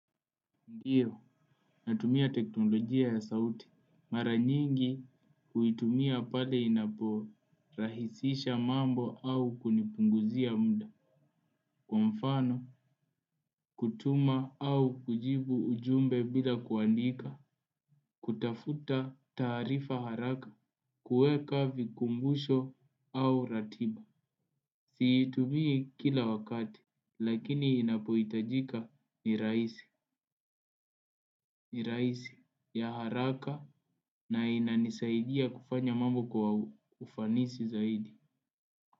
Ndio natumia teknolojia ya sauti. Mara nyingi huitumia pale inapo rahisisha mambo au kunipunguzia muda. Kwa mfano kutuma au kujibu ujumbe bila kuandika. Kutafuta taarifa haraka kueka vikumbusho au ratiba. Siitumii kila wakati lakini inapohitajika ni rahisi. Ni rahisi ya haraka na inanisaidia kufanya mambo kwa ufanisi zaidi.